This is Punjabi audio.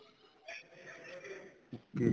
okay